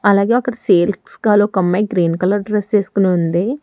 అలాగే అక్కడ sales girl ఒక అమ్మాయి గ్రీన్ కలర్ డ్రెస్ వేసుకొని ఉంది.